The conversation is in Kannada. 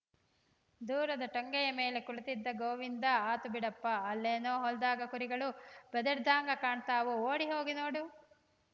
ದೂರದ ಟೊಂಗೆಯ ಮೇಲೆ ಕುಳಿತಿದ್ದ ಗೋವಿಂದ ಆತು ಬಿಡಪ್ಪಾ ಅಲ್ಲೇನೋ ಹೊಲ್ದಾಗ ಕುರಿಗಳು ಬೆದರಿದ್ಹಂಗ ಕಾಣ್ತಾವು ಓಡಿ ಹೋಗಿ ನೋಡು